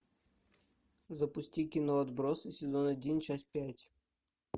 запусти кино отбросы сезон один часть пять